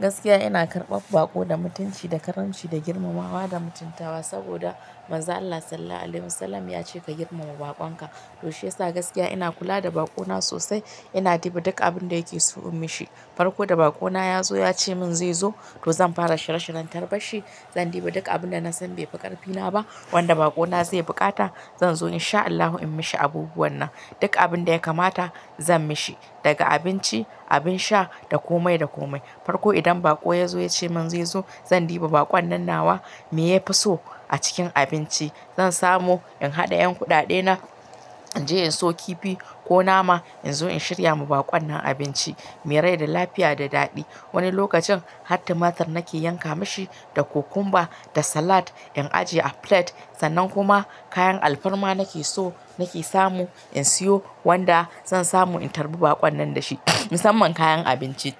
Gaskiya ina karɓar baƙo da mutunci da karamci da girmamawa da mutuntawa. Saboda Mazon Allah Sallallahu Alaihi Wasallam ya ce ka girmama baƙon ka. To shiyasa gaskiya ina kula da baƙo na sosai. Ina diba duk abin da yake so in mishi. Farko da baƙo na ya zo ya ce min zai zo, to zan fara shirye shiryen tarbar shi. Zan diba duk abin da na san bai fi ƙarfi na ba wanda baƙo na zai buƙata. Zan zo in sha Allahu in mishi abubuwan nan. Duk abin da ya kamata zan mishi daga abinci, abin sha, da komai da komai. Farko idan baƙo ya zo ya ce min zai zo zan diba baƙon nan nawa me ya fi so a cikin abinci. Zan samo in haɗa 'yan kuɗaɗe na in je in siyo kifi ko nama in zo in shirya ma baƙon nan abinci mai rai da lafiya da daɗi. Wani lokacin har tumatir nake yanka mashi da kokumba, da salad in ajiye a plate. Sannan kuma kayan alfarma nake so nake samu in siyo wanda zan samu in tarbi baƙon nan dashi. Musamman kayan abinci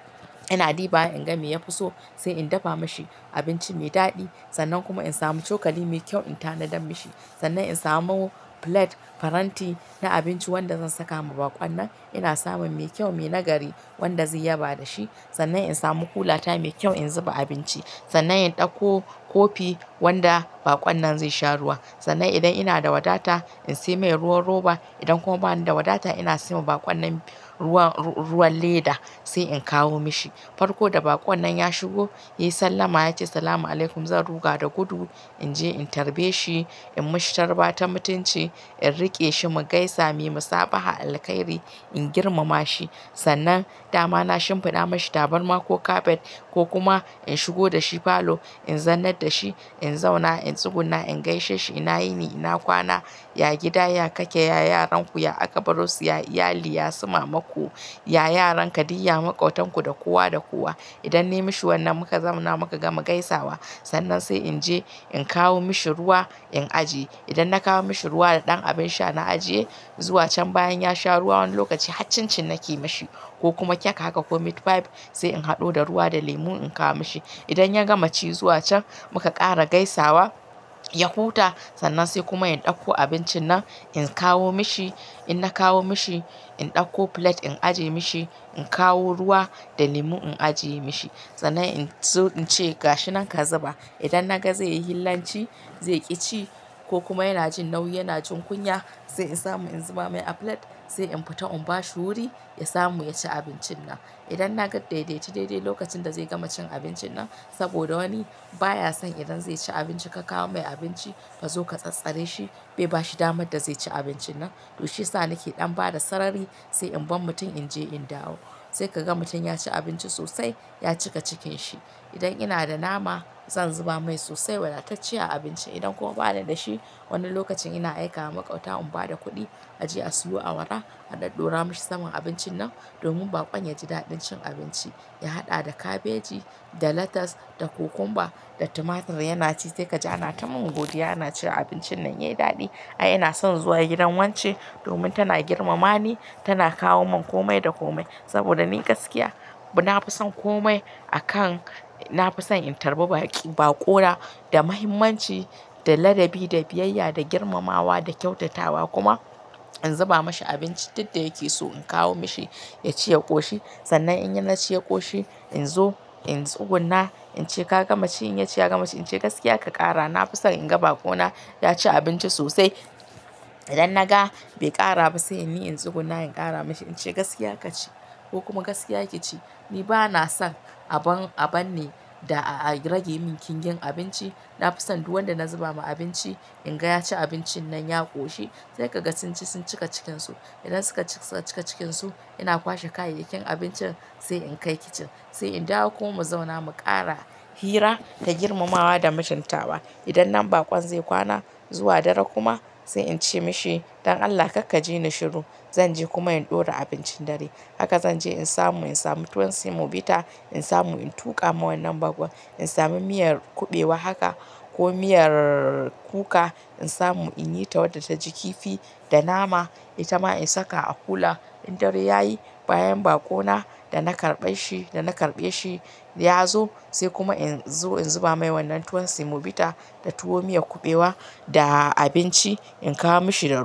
ina diba wa in ga me ya fi so sai in dafa mashi abinci mai daɗi. Sannan kuma in samu cokali mai kyau in tanadar mishi. Sannan in samo plate faranti na abinci wanda zan saka ma baƙon nan. Ina samun mai kyau, mai nagari wanda zai yaba dashi. Sannan in samu kulata mai kyau in zuba abinci. Sannan in ɗauko kofi wanda baƙon nan zai sha ruwa. Sannan idan ina da wadata in sai mai ruwan roba. Idan kuma bani da wadata ina saiwa baƙon nan ruwan, ruwan leda sai in kawo mishi. Farko da baƙon nan ya shigo, ya sallama ya ce "salam alaikum". Zan ruga da gudu in je in tarbe shi. In mishi tarba ta mutunci. In riƙe shi mu gaisa. "Muyi musabaha alkhairi". In girmama shi. Sannan dama na shimfiɗa mashi tabarma ko kafet. Ko kuma in shigo da shi falo in zannar da shi. In zauna, in tsuguna, in gaishe shi. Ina yini? Ina kwana? Ya gida, ya kake, ya yaran ku, ya akabaro su, ya iyali, ya su mamaku, ya yaran ka, duk ya maƙotan ku, da kowa da kowa. Idan na yi mashi wannan muka zauna muka gama gaisawa. Sannan sai in je in kawo mishi ruwa, in ajiye. Idan na kawo mishi ruwa da ɗan abin sha na ajiye, zuwa can bayan ya sha ruwa wani lokaci har cin cin nake mashi ko kuma cake haka ko meatpie sai in haɗo da ruwa da lemu in kawo mishi. Idan ya gama ci zuwa can muka ƙara gaisawa, ya huta sannan sai kuma in ɗauko abincin nan in kawo mishi. In na kawo mishi in ɗauko plate in ajiye mishi. In kawo ruwa da lemu in ajiye mishi. Sannan in zo in ce "ga shi nan ka zuba". Idan na ga zai yi hillanci, zai ƙi ci ko kuma yana jin nauyi, yana jin kunya sai in samu in zuba mai a plate. Sai in fita in ba shi wuri ya samu ya ci abincin nan. Idan na ga dai dai ce dai dai lokacin da zai gama cin abincin nan saboda wani baya son idan zai ci abinci ka kawo mai abinci fa zo ka tsattsare shi, bai ba shi damar da zai ci abincin nan. To shiyasa nake ɗan bada sarari sai in bar mutun in je in dawo. Sai ka ga mutum ya ci abinci sosai, ya cika cikin shi. Idan ina da nama zan zuba mai sosai wadacecciya a abinci. Idan kuma bana da shi wani lokacin ina aika wa maƙwabta in ba da kuɗi a je a siyo awara a ɗadɗora mashi saman abincin nan. Domin baƙon ya ji daɗin cin abinci. Ya haɗa da kabeji, da latas, da kokumba, da tumatir yana ci sai ka ja na ta min godiya yana cewa abincin nan yayi daɗi. Ai ina son zuwa gidan wance domin tana girmama ni, tana kawo mun komai da komai. Saboda ni gaskiya na fi son komai a kan, na fi son in tarbi baƙi, baƙona da muhimmanci, da ladabi, da biyayya, da girmamawa, da kyautatawa. Kuma in zuba mashi abinci duk da yake so in kawo mishi ya ci ya ƙoshi. Sannan in ya ci ya ƙoshi in zo in tsuguna in ce "ka gama ci?" In ya ce ya gama ci, in ce "gaskiya ka ƙara?" Na fi son in ga baƙona ya ci abinci sosai. Idan na ga bai ƙara ba sai ni in tsuguna in ƙara mashi. In ce "gaskiya ka ci ko kuma gaskiya ki ci". Ni bana son abun, abun ne da a rage min ƙingin abinci. Na fi son duk wanda na zuba ma abinci in ga ya ci abincin nan ya ƙoshi. Sai ka ga sun ci sun cika cikinsu. Idan suka cika cikinsu ina kwashe kayayyakin abincin sai in kai kicin. Sai in dawo kuma mu zauna mu ƙara hira da girmamawa da mutuntawa. Idan nan baƙon zai kwana zuwa dare kuma sai in ce mishi "don Allah kar ka ji ni shiru." Zan je kuma in ɗora abincin dare. Haka zan je in samu, in samu tuwon semobita in samu in tuƙa ma wannan baƙon. In sami miyar kuɓewa haka ko miyar kuka in samu in yi ta wadda ta ji kifi da nama. Ita ma in saka a kula. In dare yayi bayan baƙona da na karɓe shi, da na karɓe shi ya zo sai kuma in zo in zuba mai wannan tuwon semobita da tuwo miyar kuɓewa da abinci in kawo mishi da ruwa.